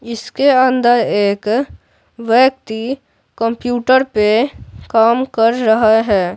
इसके अंदर एक व्यक्ति कम्प्यूटर पे काम कर रहा है।